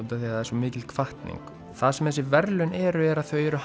það er svo mikil hvatning það sem þessi verðlaun eru er að þau eru